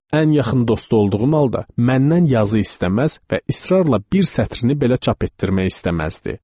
Ən yaxın dostu olduğum halda məndən yazı istəməz və israrla bir sətrini belə çap etdirmək istəməzdi.